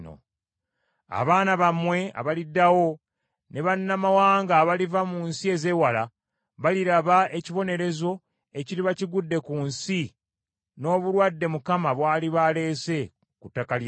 Abaana bammwe abaliddawo ne bannamawanga abaliva mu nsi ezeewala baliraba ekibonerezo ekiriba kigudde ku nsi n’obulwadde Mukama bw’aliba aleese ku ttaka ly’ensi.